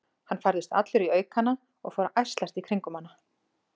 Hann færðist allur í aukana og fór að ærslast í kringum hana.